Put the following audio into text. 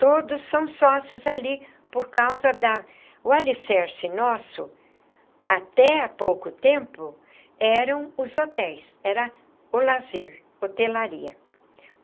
Todos são sócios ali por causa da... O alicerce nosso, até há pouco tempo, eram os hotéis, era o lazer, hotelaria.